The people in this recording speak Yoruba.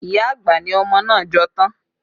Iya àgbà ni ọmọ náà jọ tán